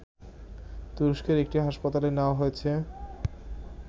তুরস্কের একটি হাসপাতালে নেয়া হয়েছে